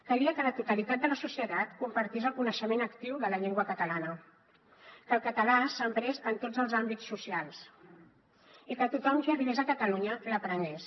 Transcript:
calia que la totalitat de la societat compartís el coneixement actiu de la llengua catalana que el català s’emprés en tots els àmbits socials i que tothom qui arribés a catalunya l’aprengués